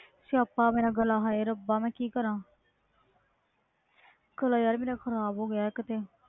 ਸਿਆਪਾ ਮੇਰਾ ਗਾਲ੍ਹਾਂ ਮੈਂ ਕਿ ਕਰਾ ਗਾਲ੍ਹਾਂ ਮੇਰਾ ਖਰਾਬ ਹੋ ਗਿਆ